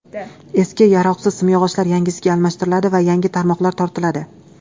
Eski, yaroqsiz simyog‘ochlar yangisiga almashtiriladi va yangi tarmoqlar tortiladi.